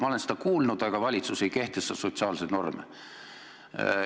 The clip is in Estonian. Ma olen seda kuulnud, aga valitsus ei kehtesta sotsiaalseid norme.